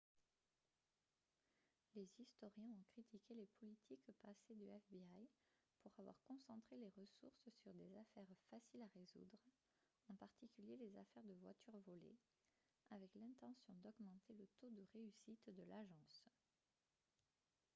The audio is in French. les historiens ont critiqué les politiques passées du fbi pour avoir concentré les ressources sur des affaires faciles à résoudre en particulier les affaires de voitures volées avec l'intention d'augmenter le taux de réussite de l'agence